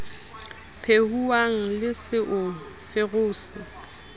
phehuwang le se o ferose